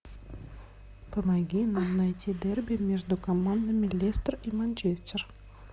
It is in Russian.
помоги нам найти дерби между командами лестер и манчестер